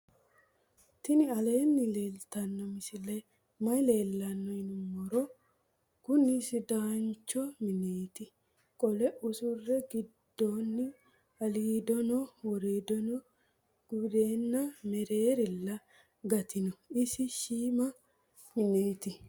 tini aleni leltano misileni maayi leelano yinnumoro. kuuni sidaancho mineti. qole usure digundoni alidono worido gundena meererila gatino. isi shima mineti.